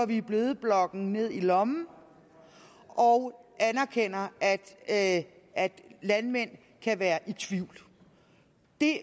vi bødeblokken ned i lommen og anerkender at at landmænd kan være i tvivl